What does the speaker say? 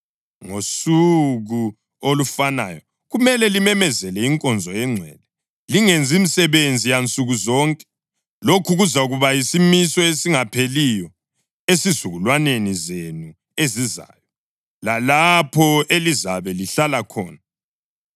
Ngosuku olufanayo kumele limemezele inkonzo engcwele, lingenzi msebenzi yansuku zonke. Lokhu kuzakuba yisimiso esingapheliyo ezizukulwaneni zenu ezizayo, lalapho elizabe lihlala khona.